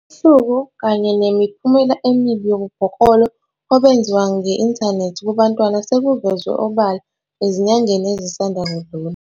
Isihluku kanye nemiphumela emibi yobubhoklolo obenziwa nge-inthanethi kubantwana sekuvezwe obala ezinyangeni ezisanda kudlula.